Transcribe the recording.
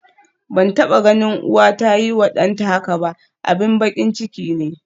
Ban taba ganin uwa ta yiwa danta haka ba, abin bakin ciki ne.